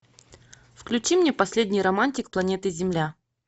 включи мне последний романтик планеты земля